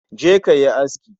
Je ka yi aski